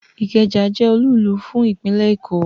Ikeja je olúùlú fún ìpínlè Èkó